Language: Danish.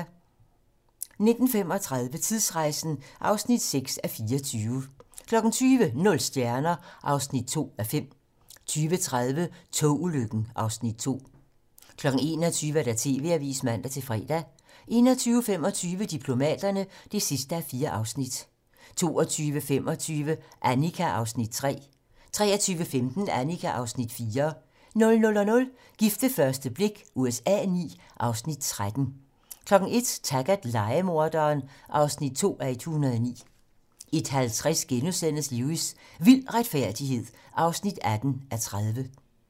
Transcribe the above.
19:35: Tidsrejsen (6:24) 20:00: Nul stjerner (2:5) 20:30: Togulykken (Afs. 2) 21:00: TV-Avisen (man-fre) 21:25: Diplomaterne (4:4) 22:25: Annika (Afs. 3) 23:15: Annika (Afs. 4) 00:00: Gift ved første blik USA IX (Afs. 13) 01:00: Taggart: Lejemorderen (2:109) 01:50: Lewis: Vild retfærdighed (18:30)*